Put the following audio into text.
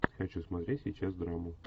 хочу смотреть сейчас драму